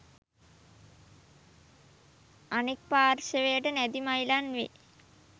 අනෙක් පාර්ශවයට නැදි මයිලන් වේ.